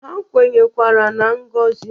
Ha kwenyekwara na ngozi